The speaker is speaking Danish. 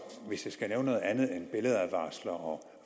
hvis jeg skal nævne noget andet end billedadvarsler og